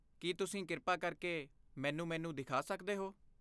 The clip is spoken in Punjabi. ਕੀ ਤੁਸੀਂ ਕਿਰਪਾ ਕਰਕੇ ਮੈਨੂੰ ਮੇਨੂ ਦਿਖਾ ਸਕਦੇ ਹੋ?